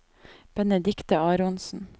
Benedikte Aronsen